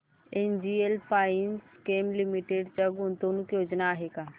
NGL Finechem limited च्या गुंतवणूक योजना आहेत का